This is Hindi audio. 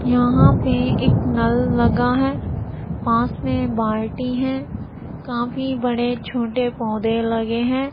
यहां पे एक नल लगा है। पास में बाल्टी हैं। काफी बड़े-छोटे पौधे लगे हैं।